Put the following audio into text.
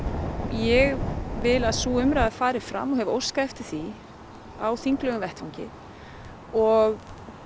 ég vil að sú umræða fari fram og hef óskað eftir því á þinglegum vettvangi og